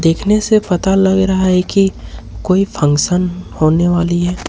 देखने से पता लग रहा है कि कोई फंक्शन होने वाली है।